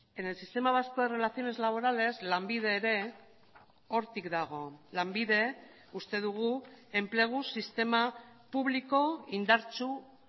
en el sistema vasco de relaciones laborales lanbide ere hortik dago lanbide uste dugu enplegu sistema publiko indartsu